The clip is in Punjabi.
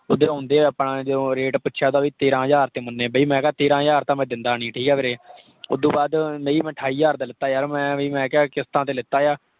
ਓਧਰੋਂ ਆਉਂਦੇ ਹੋਏ ਆਪਾਂ ਜਦੋਂ rate ਪੁੱਛਿਆ ਤਾਂ ਭੀ ਤੇਹਰਾਂ ਹਜ਼ਾਰ ਤੇ ਮੰਨੇ। ਬਈ ਮੈਂ ਕਿਹਾ ਤੇਹਰਾਂ ਹਜ਼ਾਰ ਤਾਂ ਮੈਂ ਦੇਂਦਾ ਨਹੀਂ ਠੀਕ ਹੈ ਵੀਰੇ। ਉਦੂੰ ਬਾਅਦ ਨਹੀਂ ਮੈਂ ਅਠਾਈ ਹਜ਼ਾਰ ਦਾ ਲਿੱਤਾ ਯਾਰ ਮੈਂ ਐਵੇਂ ਮੈਂ ਕਿਹਾ ਕਿਸ਼ਤਾਂ ਤੇ ਲਿੱਤਾ ਆ।